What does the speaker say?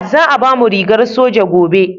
Za a bamu rigar soja gobe